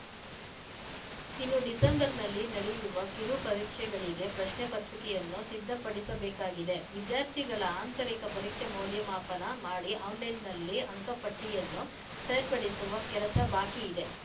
ಇನ್ನು ಡಿಸೆಂಬರ್‌ನಲ್ಲಿ ನಡೆಯುವ ಕಿರು ಪರೀಕ್ಷೆಗಳಿಗೆ ಪ್ರಶ್ನೆ ಪತ್ರಿಕೆಯನ್ನು ಸಿದ್ಧಪಡಿಸಬೇಕಾಗಿದೆ ವಿದ್ಯಾರ್ಥಿಗಳ ಆಂತರಿಕ ಪರೀಕ್ಷಾ ಮೌಲ್ಯಮಾಪನ ಮಾಡಿ ಆನ್‌ಲೈನ್‌ನಲ್ಲಿ ಅಂಕ ಪಟ್ಟಿಯನ್ನು ಸೇರ್ಪಡಿಸುವ ಕೆಲಸ ಬಾಕಿ ಇದೆ